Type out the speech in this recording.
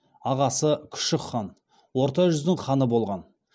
ағасы күшік хан орта жүздің ханы болған